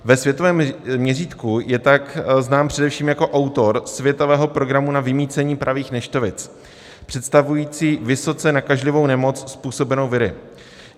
Ve světovém měřítku je tak znám především jako autor světového programu na vymýcení pravých neštovic, představující vysoce nakažlivou nemoc způsobenou viry.